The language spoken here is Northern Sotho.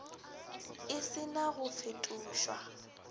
e se na go fetošwa